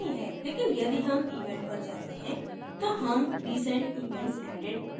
लेकिन यदि हम event पर जाते हैं तो हम recent events added देख सकते हैं